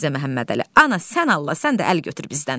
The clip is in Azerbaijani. Mirzə Məhəmmədəli, ana sən Allah, sən də əl götür bizdən.